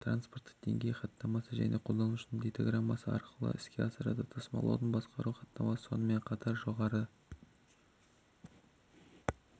транспорттық деңгейі хаттамасы және қолданушының дейтограммасы арқылы іске асады тасымалдауды басқару хаттамасы сонымен қатар жоғары